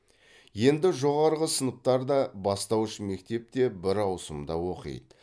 енді жоғарғы сыныптар да бастауыш мектеп те бір ауысымда оқиды